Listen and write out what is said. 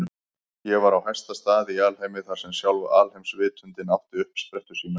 Ég var á hæsta stað í alheimi, þar sem sjálf alheimsvitundin átti uppsprettu sína.